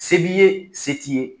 Se b'i ye se t'i ye.